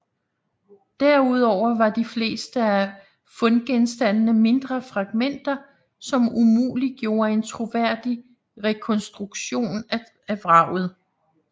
Derudover var de fleste af fundgenstandene mindre fragmenter som umuliggjorde en troværdig rekonstruktion af vraget